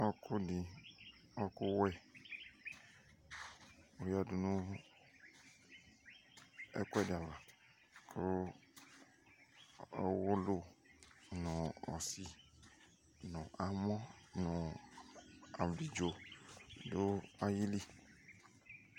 Ɔɔkʋ dɩ ɔɔkʋwɛ oyǝdu nʋ ɛkʋɛdɩ ava Kʋ ɔwʋlʋ nʋ ɔsɩ , nʋ amɔ nʋ abidzo dʋ ayili